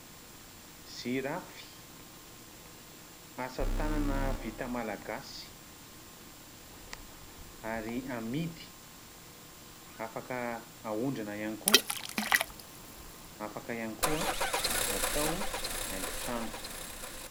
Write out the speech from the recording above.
Jirafy asa tanana vita malagasy ary amidy. Afaka aondrana ihany koa. Afaka ihany koa atao haingo trano.